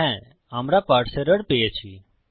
হ্যা আমরা parse error পেয়েছি